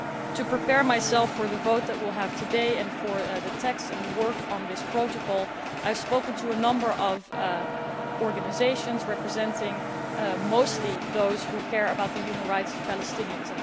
To prepare myself for the vote today and for the text and the work on this Protocol, I have spoken to a number of organisations, representing mostly those who care about the human rights of Palestinians.